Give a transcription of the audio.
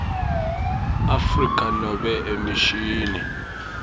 afrika nobe emishini